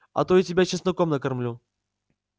а то и тебя чесноком накормлю